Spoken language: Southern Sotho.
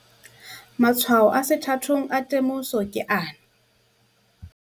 Matshwao a sethathong a temoso ke ana.